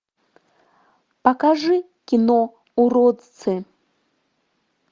покажи кино уродцы